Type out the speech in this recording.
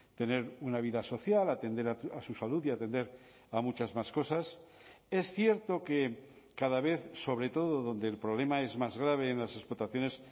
tener una vida social atender a su salud y atender a muchas más cosas es cierto que cada vez sobre todo donde el problema es más grave en las explotaciones